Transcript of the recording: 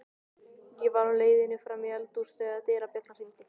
Ég var á leiðinni fram í eldhús þegar dyrabjallan hringdi.